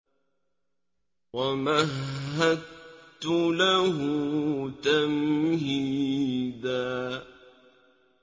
وَمَهَّدتُّ لَهُ تَمْهِيدًا